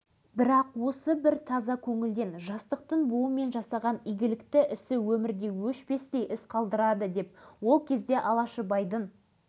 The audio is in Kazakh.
ештеңеге түсінбеген біздер ол кісіні қимай жылап қоштасып қала бердік өкінішке орай біреулер оған соны да